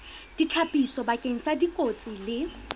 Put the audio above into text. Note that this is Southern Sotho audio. ditlhapiso bakeng sa dikotsi le